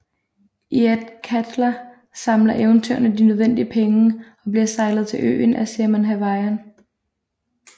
I Athkatla samler eventyrerne de nødvendige penge og bliver sejlet til øen af Saemon Havarian